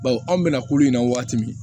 Bawo anw bɛna kulu in na waati min